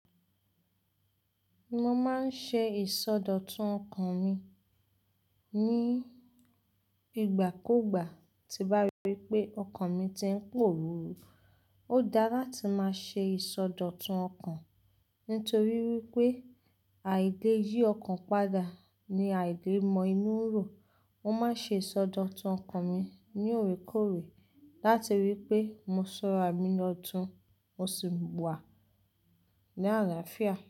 Mo máa ń ṣe ìsọdọ̀tun ọkàn mi ní ìgbàkúgbà tí bá wípé ọkàn mi tí ń pòruru. Ó dá latí máa ṣe ìsọdọ̀tun ọkàn, nítorí wípé àìde yí ọkàn padà ni àìde mọ inú rò. Mo máa ń ṣe ìsọdọ̀tun ọkàn mi ní òrekorè láti rí i pé mo ṣọra mi lọ́tun, mo sì wà ní àlàáfíà.